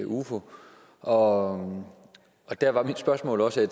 i ufo og der var mit spørgsmål også